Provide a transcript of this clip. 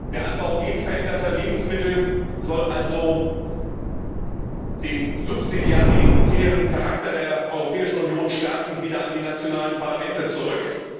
Der Anbau genveränderter Lebensmittel soll also, den subsidiaritären Charakter der Europäischen Union stärkend, wieder an die nationalen Parlamente zurück.